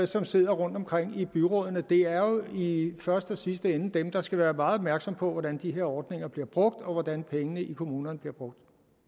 som sidder rundtomkring i byrådene det er jo i første og sidste ende dem der skal være meget opmærksomme på hvordan de her ordninger bliver brugt og hvordan pengene i kommunerne bliver brugt